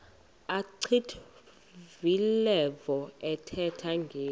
achwavitilevo ethetha ngeli